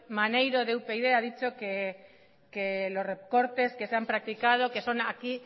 maneiro de upyd ha dicho que los recortes que se han practicado que son aquí